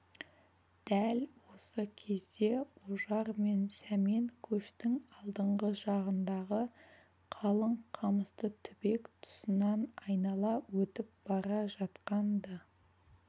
дәл осы кезде ожар мен сәмен көштің алдыңғы жағындағы қалың қамысты түбек тұсынан айнала өтіп бара жатқан-ды